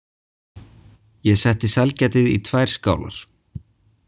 Ég setti sælgætið í tvær skálar.